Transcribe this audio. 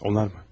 Onlar mı?